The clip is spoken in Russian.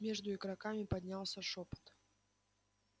между игроками поднялся шёпот